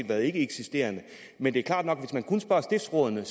været ikkeeksisterende men det er klart nok at hvis man kun spørger stiftsrådene